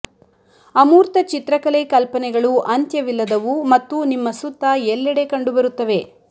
ಅಮೂರ್ತ ಚಿತ್ರಕಲೆ ಕಲ್ಪನೆಗಳು ಅಂತ್ಯವಿಲ್ಲದವು ಮತ್ತು ನಿಮ್ಮ ಸುತ್ತ ಎಲ್ಲೆಡೆ ಕಂಡುಬರುತ್ತವೆ